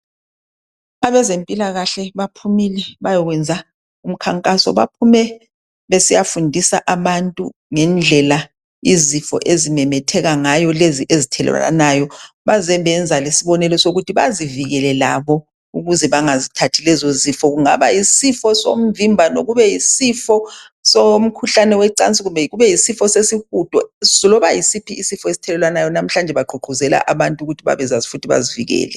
abezempilakahle baphumile bayokwenza umkhankaso baphume besiya fundisa abantu ngendlela izifo ezimemetheka ngayo lezi ezithelelwanayo beyenza lesibonelo sokuthi bazivikele labo ukuze bangazithathi lezi zifo kungaba yisifo somvimbano isifo somkhuhlane wecansi kumbe kube yisifo sesihudo lobakube yisiphi isfo esithelelwanayo namuhla bagqugquzela abantu ukuthi bazivikele